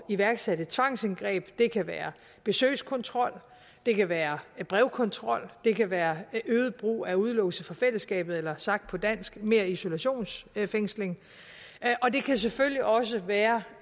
iværksætte tvangsindgreb det kan være besøgskontrol det kan være brevkontrol det kan være øget brug af udelukkelse fra fællesskabet eller sagt på dansk mere isolationsfængsling og det kan selvfølgelig også være